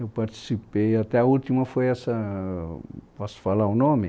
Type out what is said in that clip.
Eu participei, até a última foi essa, posso falar o nome?